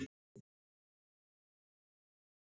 Leonhard, heyrðu í mér eftir áttatíu og fimm mínútur.